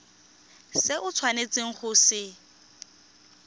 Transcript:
se o tshwanetseng go se